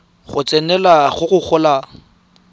go tsenelela go go golang